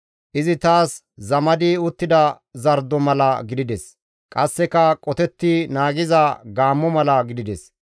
Izi taas zamadi uttida zardo mala gidides; qasseka qotetti naagiza gaammo mala gidides.